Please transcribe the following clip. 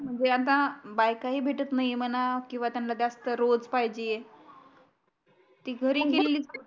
म्हणजे आता बायकाही भेटत नाही म्हणा किव्वा त्यांना जास्त रोज पाहिजे ते घरी गेलेली